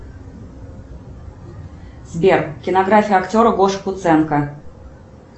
сбер кинография актера гоши куценко